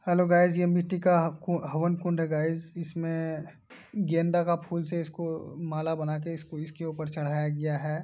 Hello guys यह मिट्टी का हवन कुंड है। गाइस इसमें गेंदा का फूल से इसको माला बनाके इसको इसके ऊपर चढ़ाया गया है।